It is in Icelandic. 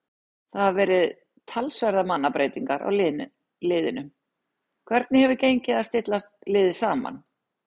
Það hafa verið talsverðar mannabreytingar á liðinu, hvernig hefur gengið að stilla liðið saman?